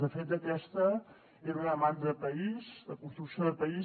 de fet aquesta era una demanda de país de construcció de país